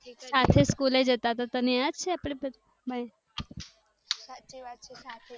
સાથે સ્કૂલે જતા તને યાદ છે આપડે બધા